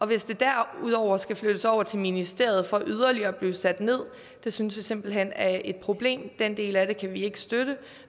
hvis det derudover skal flyttes over til ministeriet for yderligere at blive sat ned synes vi simpelt hen det er et problem den del af det kan vi ikke støtte